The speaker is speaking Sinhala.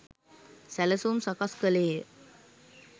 සැළසුම් සකස් කළේ ය